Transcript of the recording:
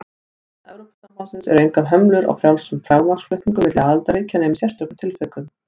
Innan Evrópusambandsins eru engar hömlur á frjálsum fjármagnsflutningum milli aðildarríkja nema í sérstökum tilvikum.